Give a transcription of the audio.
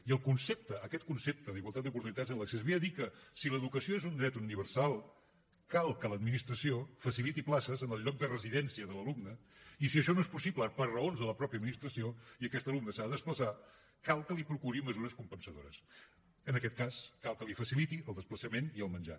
i el concepte aquest concepte d’igualtat d’oportunitats en l’accés ve a dir que si l’educació és un dret universal cal que l’administració faciliti places en el lloc de residència de l’alumne i si això no és possible per raons de la mateixa administració i aquest alumne s’ha de desplaçar cal que li procuri mesures compensadores en aquest cas cal que li faciliti el desplaçament i el menjar